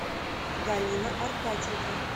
галина аркадьевна